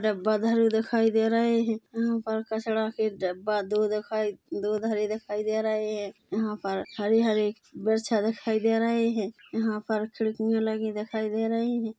डब्बा धरे दिखाई दे रहे है यहाँ पर कचड़ा के डब्बा दो दिखाई दो धरे दिखाई दे रहे है यहाँ पर हरे-हरे बैरछा दिखाई दे रहे है यहाँ पर खिड़कियां लगी दिखाई दे रही है।